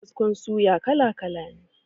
Kaskon suya kala kala ne.